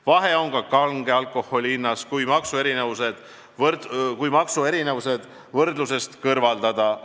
Vahe on ka kange alkoholi hinnas, kui maksuerinevused võrdlusest kõrvaldada.